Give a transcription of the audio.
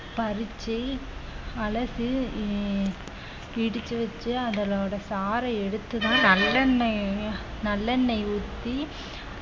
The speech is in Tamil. பறிச்சு அழைச்சு உம் பிடிச்சு வச்சு அதனோட சாறை எடுத்துதான் நல்லெண்ணெய நல்லெண்ணெய் ஊத்தி